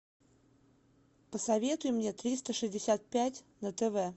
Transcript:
посоветуй мне триста шестьдесят пять на тв